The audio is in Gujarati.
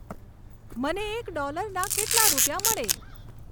મને એક ડોલરના કેટલાં રૂપિયા મળે